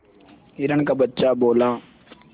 हिरण का बच्चा बोला